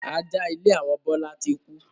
Ajá ilé àwọn Bọlá tí kú